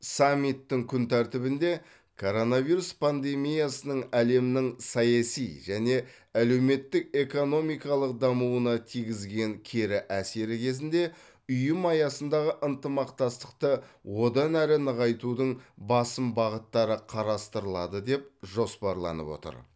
саммиттің күн тәртібінде коронавирус пандемиясының әлемнің саяси және әлеуметтік экономикалық дамуына тигізген кері әсері кезінде ұйым аясындағы ынтымақтастықты одан әрі нығайтудың басым бағыттары қарастырылады деп жоспарланып отыр